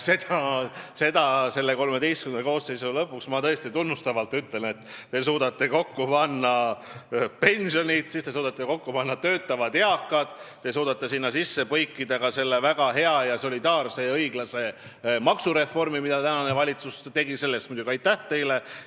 Ma selle XIII koosseisu lõpus tõesti tunnustavalt ütlen, et te suudate küsimuses kokku panna pensionid ja töötavad eakad, te suudate sinna sisse põimida ka selle väga hea, solidaarse ja õiglase maksureformi, mida tänane valitsus on teinud – selle eest muidugi aitäh teile!